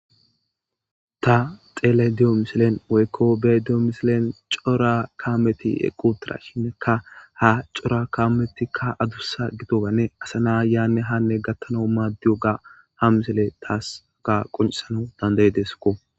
ta xele diyo misilen woykko be diyo misilen cora kaameti equtira shineka ha cora kametikka adussa gitogane asa na yaanne hanne gattana maaddiyo ga ha misile taasaka qoncisana dandaye desko